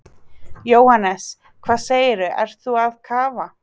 Jóhannes: Hvað segirðu, ert þú að kafa?